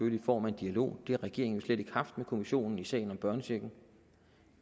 i form af en dialog det har regeringen jo slet ikke haft med kommissionen i sagen om børnechecken